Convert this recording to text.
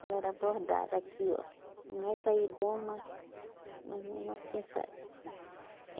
Ela era bordada aqui, ó. Não vai sair bom, mas... Mais ou menos assim sai.